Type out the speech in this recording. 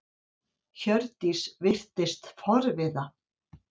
Hjördís virtist forviða.